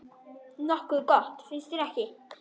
Nokkuð gott, finnst þér ekki?